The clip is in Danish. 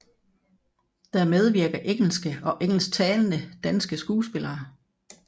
Der medvirker engelske og engelsktalende danske skuespillere